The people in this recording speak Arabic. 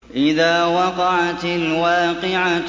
إِذَا وَقَعَتِ الْوَاقِعَةُ